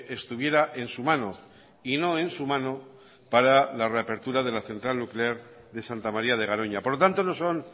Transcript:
estuviera en su mano y no en su mano para la reapertura de la central nuclear de santa maría de garoña por lo tanto no son